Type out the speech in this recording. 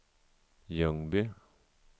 Ljungby